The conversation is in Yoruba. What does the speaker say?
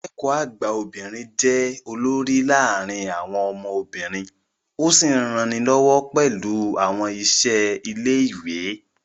Akẹ́kọ̀ọ́ àgbà obìnrin jẹ́ olórí láàárín àwọn ọmọ obìnrin ó sì ń ranilọ́wọ́ pẹ̀lú àwọn iṣẹ́ ilé ìwé